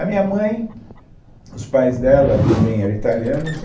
A minha mãe, os pais dela também eram italianos.